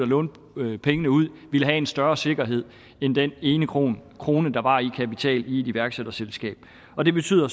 låne pengene ud ville have en større sikkerhed end den ene krone krone der var i kapital i et iværksætterselskab og det betyder